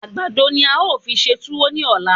Àgbàdo ni a ó fi ṣe túwó ní ọ̀la.